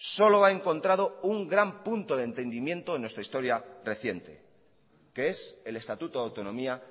solo ha encontrado un gran punto de entendimiento en nuestra historia reciente que es el estatuto de autonomía